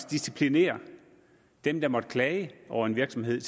disciplinerer dem der måtte klage over en virksomhed